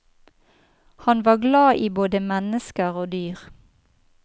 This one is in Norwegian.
Han var glad i både mennesker og dyr.